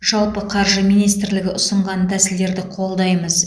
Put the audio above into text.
жалпы қаржы министрлігі ұсынған тәсілдерді қолдаймыз